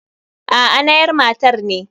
Aa nayar matar ne.